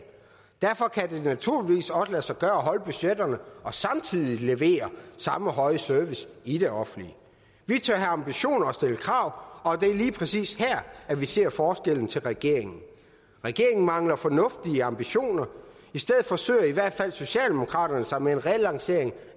derfor kan det naturligvis også lade sig gøre at holde budgetterne og samtidig levere samme høje service i det offentlige vi tør have ambitioner og stille krav og det er lige præcis her vi ser forskellen til regeringen regeringen mangler fornuftige ambitioner i stedet forsøger i hvert fald socialdemokraterne sig med en relancering